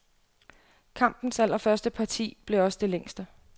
Kampens allerførste parti blev også det længste.